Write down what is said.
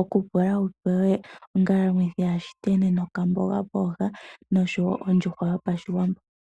oku pula wupewe ongalamwithi ya shiteni nokamboga pooha noshowo ondjuhwa yopashiwambo.